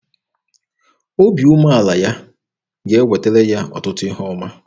Obi umeala ya ga-ewetara ya ọtụtụ ihe ọma.